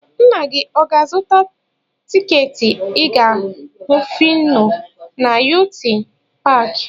Nna gị ọ ga-azụta tiketi ịga hụ Fino na yunity paakị?